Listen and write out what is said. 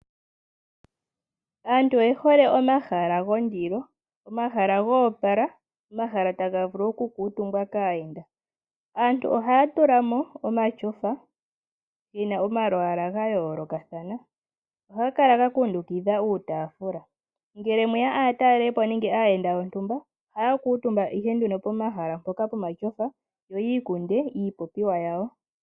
Aantu oyehole omahala gondilo omahala go opala omahala taga vulu oku kumtumbwa kaayenda. Aantu ohaya tulamo omatyofa gena omalwala ga yolokathana ohaga kala ga kundukidha uutafula. Ngele mweya aatalelipo nenge aayenda yenda yontumba ohaya kumtumba ihe nduno pomahala mpoka yo yi ikunde iipopiwa yawo.